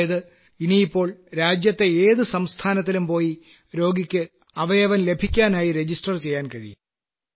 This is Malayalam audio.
അതായത് ഇനിയിപ്പോൾ രാജ്യത്തെ ഏതു സംസ്ഥാനത്തിലും പോയി രോഗിക്ക് അവയവം ലഭിക്കാനായി രജിസ്റ്റർ ചെയ്യാൻ കഴിയും